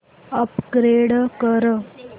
upgrade कर